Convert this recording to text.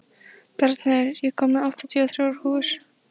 Bjarnheiður, ég kom með áttatíu og þrjár húfur!